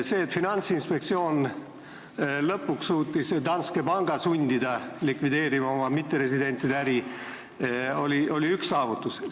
See, et Finantsinspektsioon lõpuks suutis sundida Danske panka likvideerima oma mitteresidentide äri, oli üks saavutusi.